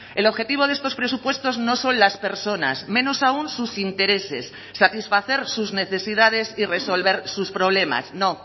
el objetivo de estos presupuestos no son las personas menos aún sus intereses satisfacer sus necesidades y resolver sus problemas no